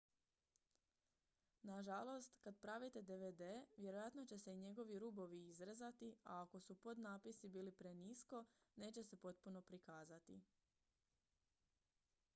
nažalost kada pravite dvd vjerojatno će se i njegovi rubovi izrezati a ako su podnapisi bili prenisko neće se potpuno prikazati